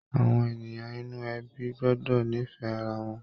Àwọn ènìyàn inú ẹbí gbọ́dọ̀ nífẹ̀ẹ́ ara wọn.